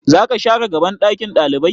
Zaka share gaban ɗakin ɗalibai?